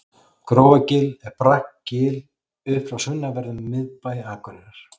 grófargil er bratt gil upp frá sunnanverðum miðbæ akureyrar